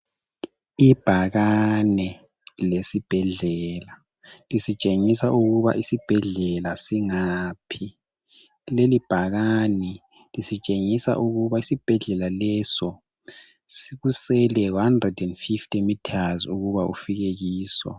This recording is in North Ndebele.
Ibhakane lesibhedlela lisitshengisa ukuba isibhedlela singaphi. Leli bhakani lisitshengisa ukuba isibhedlela leso kusele 150 m ukuba ufike kiso.